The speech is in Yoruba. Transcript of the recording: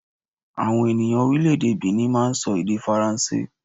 Àwọn ènìyàn Orílèdè Benni máa n sọ èdè faransé